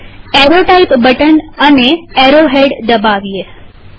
હવે arrow type button અને arrow head દબાવીએ